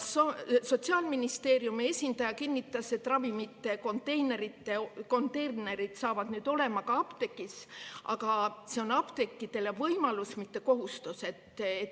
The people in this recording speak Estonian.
Sotsiaalministeeriumi esindaja kinnitas, et ravimikonteinerid saavad olema ka apteegis, aga see on apteekidele võimalus, mitte kohustus.